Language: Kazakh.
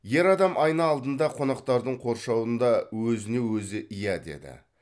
ер адам айна алдында қонақтардың қоршауында өзіне өзі иә деді